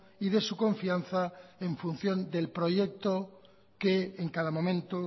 y de su confianza en función del proyecto que en cada momento